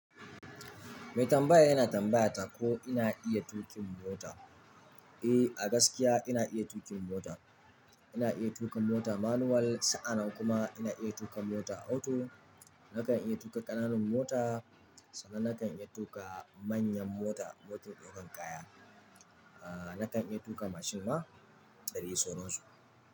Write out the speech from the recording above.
Mai tambaya yana tambayata ko ina iya tuƙin mota. Eh, a gaskiya ina iya tuƙin mota. Ina iya tuƙa mota manual, sa'anan kuma ina iya tuƙa mota auto. Nakan iya tuƙa ƙananan mota sannan nakan iya tuƙa manyan mota, motun ɗaukan kaya. Ah, nakan iya tuƙa mashin ma, da dai sauran su.